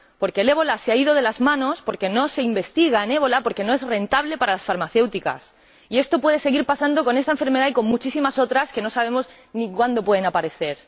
Porque el ébola se ha ido de las manos porque no se investiga sobre él, porque no es rentable para las farmacéuticas. Y esto puede seguir pasando con esta enfermedad y con muchísimas otras que no sabemos ni cuándo pueden aparecer.